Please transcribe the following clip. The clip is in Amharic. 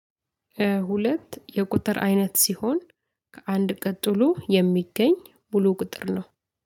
ሁለት የቁጥር አይነት ሲሆን ከአንድ ቀጥሎ የሚገኝ ሙሉ ቁጥር ነው።